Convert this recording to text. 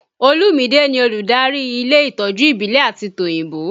Olumide ni olùdarí ilé ìtọ́jú ìbílẹ̀ àti tòyìnbó